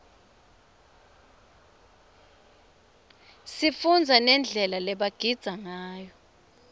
sifundza nendlela lebagidza ngayo